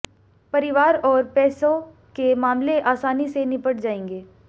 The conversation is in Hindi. परिवार और पैसों के मामले आसानी से निपट जाएंगे